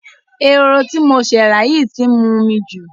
Eroho tí mo ṣẹ̀ rà yìí tí ń mu omi jù.